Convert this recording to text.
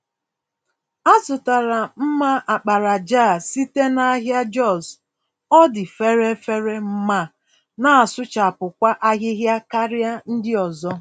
Azụtara mma àkpàràjà a site nahịa Jos, ọdị fèrè-fèrè ma nasụchapụkwa ahịhịa karịa ndị ọzọ.